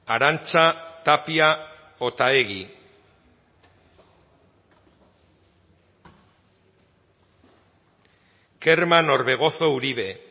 arantxa tapia otaegi kerman orbegozo uribe